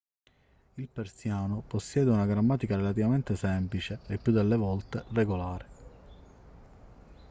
il persiano possiede una grammatica relativamente semplice e il più delle volte regolare